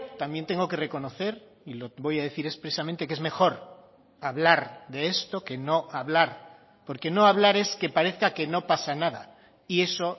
también tengo que reconocer y lo voy a decir expresamente que es mejor hablar de esto que no hablar porque no hablar es que parezca que no pasa nada y eso